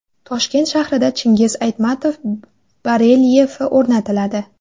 Toshkent shahrida Chingiz Aytmatov barelyefi o‘rnatiladi.